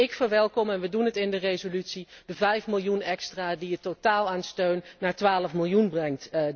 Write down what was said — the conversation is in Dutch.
Ook ik verwelkom en wij doen het in de resolutie de vijf miljoen extra die het totaal aan steun dit jaar op 12 miljoen brengt.